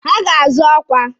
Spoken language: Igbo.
Ha ga-azọ ọkwa.